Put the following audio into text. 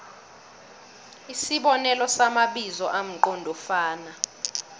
isibonelo samabizo amqondofana